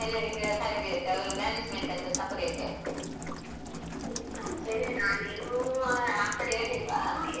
ಉಂಟಂತೆ ನಾನ್ ಏನೂ ಆ ಕಡೆ ಗೊತ್ತೂ ಇಲ್ಲ ಹೋಗ್ಲೂ ಇಲ್ಲ ನಮ್ಗೆ ಕೊಟ್ಟವರು ಯಾರು ಇಲ್ಲ.